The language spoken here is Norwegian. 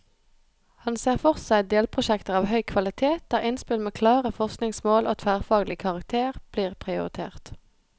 Han ser for seg delprosjekter av høy kvalitet, der innspill med klare forskningsmål og tverrfaglig karakter blir prioritert.